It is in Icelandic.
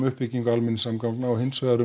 uppbyggingu almenningssamgagna og hins vegar